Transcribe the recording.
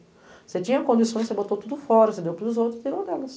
Você tinha condições, você botou tudo fora, você deu para os outros e tirou delas.